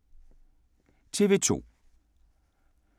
TV 2